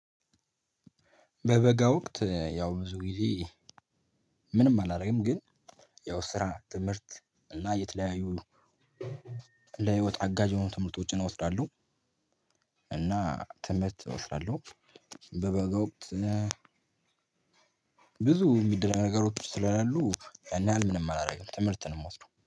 በበጋ ወቅት ያው ብዙ ጊዜ ምንም አላደርግም ግን ያው ስራ፣ ትምህርት እና የተለያዩ ለህይወት አጋዥ የሆኑ ትምህርቶችን አወስዳለሁ። እና ትምህርት እወስዳለሁ። በበጋ ወቅት ብዙ የሚደረግ ነገሮች ስለሌሉ ያን ያህል ምንም አላረግም ትምህርት ነው ምወስደው።